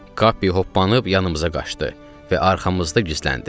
Kappe hoppanıb yanımıza qaçdı və arxamızda gizləndi.